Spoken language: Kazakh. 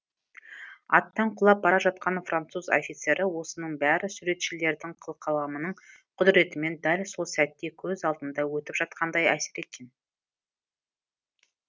аттан құлап бара жатқан француз офицері осының бәрі суретшілердің қылқаламының құдіретімен дәл сол сәтте көз алдымда өтіп жатқандай әсер еткен